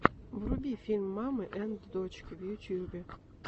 вруби фильм мамы энд дочки в ютюбе